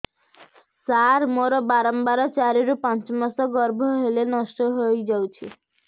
ସାର ମୋର ବାରମ୍ବାର ଚାରି ରୁ ପାଞ୍ଚ ମାସ ଗର୍ଭ ହେଲେ ନଷ୍ଟ ହଇଯାଉଛି